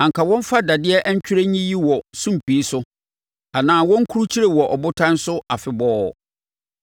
anka wɔmfa dadeɛ twerɛdua nyiyi wɔ sumpii so, anaa wɔnkrukyire wɔ abotan so afebɔɔ.